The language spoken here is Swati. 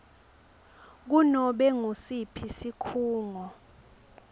kunobe ngusiphi sikhungo